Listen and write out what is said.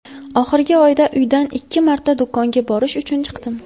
Oxirgi oyda uydan ikki marta do‘konga borish uchun chiqdim.